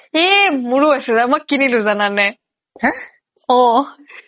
এই মোৰো আছে মই কিনিলো জানানে অহ